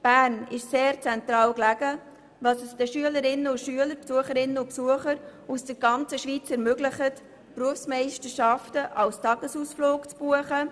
Bern ist sehr zentral gelegen und ermöglicht es Schülerinnen und Schülern sowie Besucherinnen und Besuchern aus der ganzen Schweiz, die Berufsmeisterschaften als Tagesausflug zu buchen.